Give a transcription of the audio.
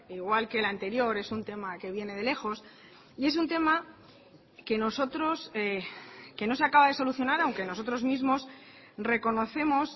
igual que el anterior es un tema que viene de lejos y es un tema que nosotros que no se acaba de solucionar aunque nosotros mismos reconocemos